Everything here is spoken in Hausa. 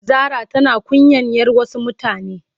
Zara tana kunyan yar Wasu mutane.